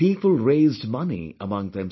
People raised money among themselves